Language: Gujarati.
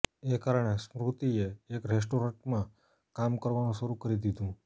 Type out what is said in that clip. એ કારણે સ્મૃતિએ એક રેસ્ટોરન્ટમાં કામ કરવાનું શરુ કરી દીધું